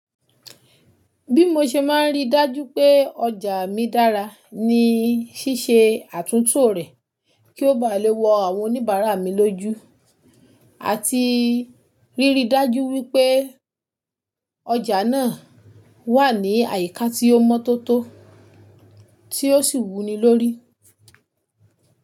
Bí mo ṣe máa rí dájú pé ọjà mi dára ní ṣíṣe àtúntò rẹ̀ kí ó bá lè wọ àwọn oníbàárà mi lójú àti ríri dájú wípé ọjà náà wà ní àyíká tí ó mọ́tótó tí ó sì wuni lórí.